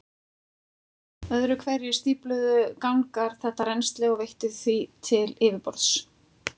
Öðru hverju stífluðu gangar þetta rennsli og veittu því til yfirborðs.